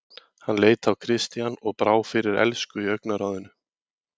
Hann leit á Christian og brá fyrir elsku í augnaráðinu.